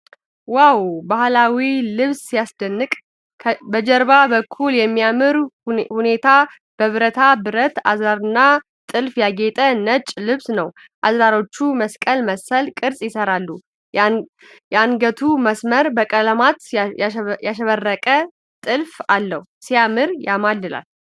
ዋው! ባህላዊው ልብስ ሲያስደንቅ! በጀርባው በኩል በሚያምር ሁኔታ በብረታ ብረት አዝራርና ጥልፍ ያጌጠ ነጭ ልብስ ነው። አዝራሮቹ መስቀል መሰል ቅርፅ ይሠራሉ። የአንገቱ መስመር በቀለማት ያሸበረቀ ጥልፍ አለው። ሲያምር ያማልላል !!።